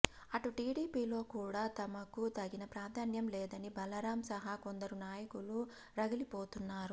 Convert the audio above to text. అటు టీడీపీ లో కూడా తమకు తగిన ప్రాధాన్యం లేదని బలరాం సహా కొందరు నాయకులు రగిలిపోతున్నారు